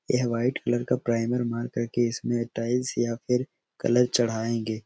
यह white colour का primer मार कर के इसमें टाइल्स या फिर कलर चड़ाएंगे।